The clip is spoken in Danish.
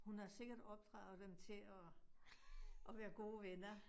Hun har sikkert opdraget dem til at at være gode venner